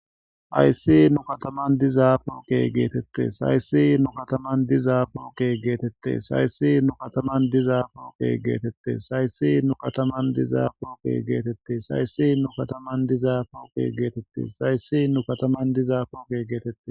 Haysi nu kataman dizaafo ke geetette saysi nu kataman dizaafoke geetette saysi nu kataman dizaafoke geetette saysi nu kataman dizaafoke geetette saysi nu kataman dizaafoke geetette sayssi nu kataman dizaafoke geetette